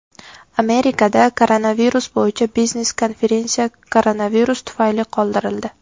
Amerikada koronavirus bo‘yicha biznes-konferensiya koronavirus tufayli qoldirildi.